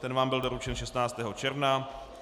Ten vám byl doručen 16. června.